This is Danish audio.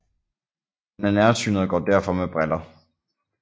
Han er nærsynet og går derfor med briller